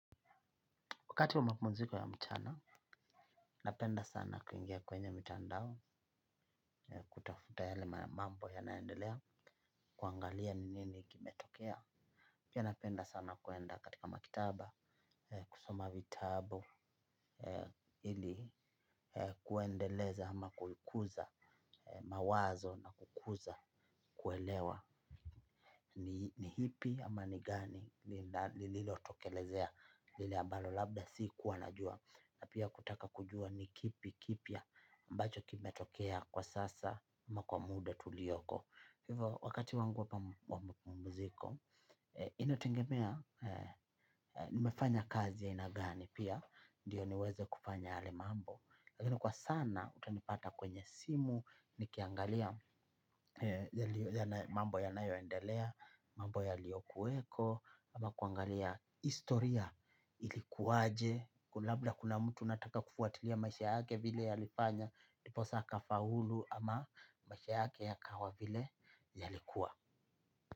Wakati wa mapumuziko ya mchana, napenda sana kuingia kwenye mtandao, kutafuta yale mambo yanaendelea, kuangalia ni nini kimetokea. Pia napenda sana kuenda katika makitaba, kusoma vitabu, ili kuendeleza ama kuikuza mawazo na kukuza kuelewa ni ipi ama ni gani lililo tokelezea lilea balo labda si kuwa na jua. Na pia kutaka kujua nikipi kipya ambacho kime tokea kwa sasa makuamude tuliyoko. Hivo wakati wangu wa mapumziko ina tengemea nimefanya kazi ya aina gani pia. Ndiyo niweze kupanya yale mambo. Lakini kwa sana utanipata kwenye simu. Nikiangalia mambo ya nayoendelea mambo ya liokuweko ama kuangalia historia ilikuwaje. Kulabla kuna mtu nataka kufuatilia maisha hake vile ya lifanya ndiposa akafaulu ama maisha yake ya kawa vile yalikua.